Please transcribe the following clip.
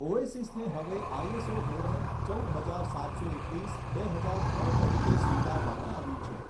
ઓએસીસને હવે આઈએસઓ ધોરણ ચૌદ હજાર સાતસો એકવીસ બે હજાર ત્રણ તરીકે સ્વીકારવામાં આવ્યું છે.